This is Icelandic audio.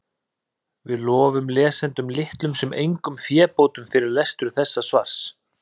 Við lofum lesendum litlum sem engum fébótum fyrir lestur þessa svars.